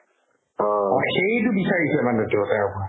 অ, সেইটো বিচাৰিছে মানে তেওঁ তেওঁৰ পৰা